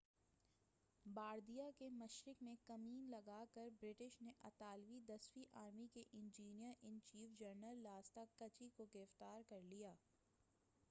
Bardia کے مشرق میں کمین لگا کر برٹش نے اطالوی دسویں آرمی کے انجینیر ان چیف جنرل لاستاکچی کو گرفتار کر لیا